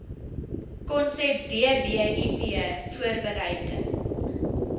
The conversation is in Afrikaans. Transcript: konsep dbip voorbereiding